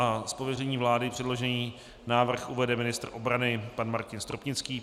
Z pověření vlády předložený návrh uvede ministr obrany pan Martin Stropnický.